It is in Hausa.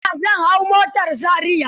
A tasha zan hau motar Zariya.